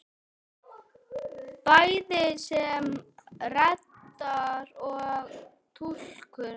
Bæði sem reddari og túlkur!